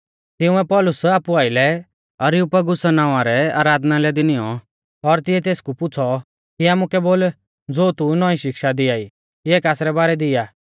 तिंउऐ पौलुस आपु आइलै अरियुपगुसा नावां रै आराधनालय दी नियौं और तिऐ तेसकु पुछ़ौ कि आमुकै बोल ज़ो तू नौईं शिक्षा दियाई इऐ कासरै बारै दी आ